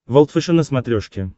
волд фэшен на смотрешке